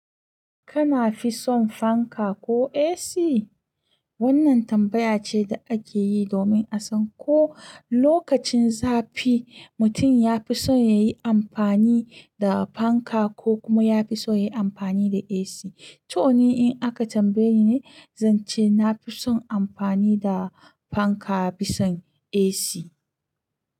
Kana fi son fanka ko AC? Wannan tambaya ce da ake yi domin a san ko lokacin zafi, mutum ya fi son ya yi amfani da fanka ko kuma ya fi son ya yi amfani da AC. To ni in aka tambaye ni ne, zan ce na fi son amfani da fanka, bisa AC.